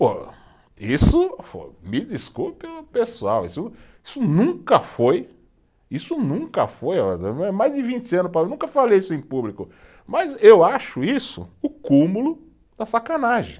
Pô, isso, me desculpe o pessoal, isso isso nunca foi, isso nunca foi, mais de vinte anos, nunca falei isso em público, mas eu acho isso o cúmulo da sacanagem.